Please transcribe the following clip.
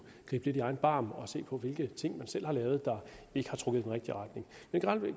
gribe lidt i egen barm og se på hvilke ting man selv har lavet der ikke har trukket i den rigtige retning men